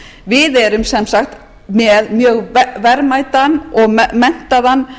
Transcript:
við erum sem sagt með mjög verðmætan og menntaðan